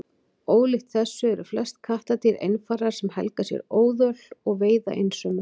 Ólíkt þessu eru flest kattardýr einfarar sem helga sér óðöl og veiða einsömul.